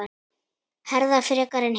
Herða frekar en hitt?